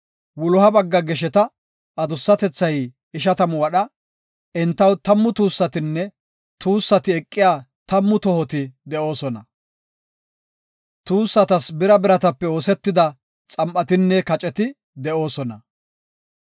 Wuloha bagga gesheta adussatethay ishatamu wadha. Entaw tammu tuussatinne tuussati eqiya tammu tohoti de7oosona. Tuussatas bira biratape oosetida xam7atinne kaceti de7oosona.